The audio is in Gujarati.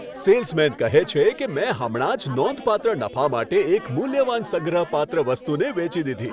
સેલ્સમેન કહે છે કે, મેં હમણાં જ નોંધપાત્ર નફા માટે એક મૂલ્યવાન સંગ્રહપાત્ર વસ્તુને વેચી દીધી.